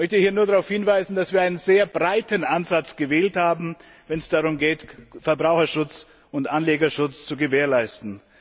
Ich möchte hier nur darauf hinweisen, dass wir einen sehr breiten Ansatz gewählt haben, wenn es darum geht, Verbraucherschutz und Anlegerschutz zu gewährleisten.